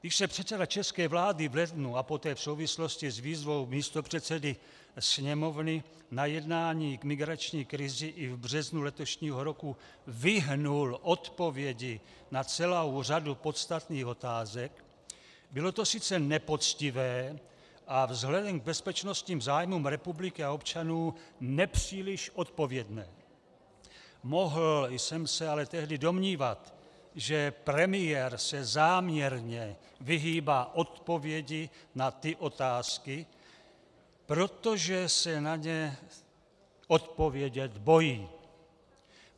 Když se předseda české vlády v lednu a poté v souvislosti s výzvou místopředsedy Sněmovny na jednání k migrační krizi i v březnu letošního roku vyhnul odpovědi na celou řadu podstatných otázek, bylo to sice nepoctivé a vzhledem k bezpečnostním zájmům republiky a občanů nepříliš odpovědné, mohl jsem se ale tehdy domnívat, že premiér se záměrně vyhýbá odpovědi na ty otázky, protože se na ně odpovědět bojí.